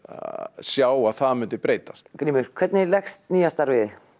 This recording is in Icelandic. sjá að það myndi breytast grímur hvernig leggst nýja starfið í